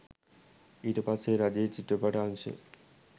ඊට පස්සේ රජයේ චිත්‍රපට අංශය